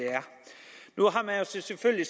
selvfølgelig